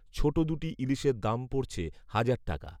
ছোট দু’টি ইলিশের দাম পড়ছে হাজার টাকা!